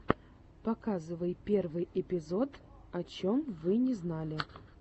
показывай первый эпизод о чем вы не знали